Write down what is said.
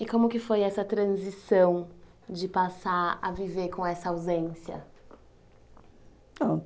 E como que foi essa transição de passar a viver com essa ausência?